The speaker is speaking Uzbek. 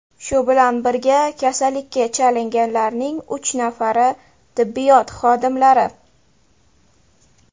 Shu bilan birga, kasallikka chalinganlarning uch nafari tibbiyot xodimlari.